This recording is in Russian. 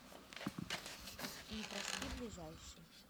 непроспи ближайший